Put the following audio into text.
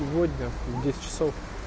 сегодня в десять часов